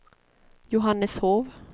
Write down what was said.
Johanneshov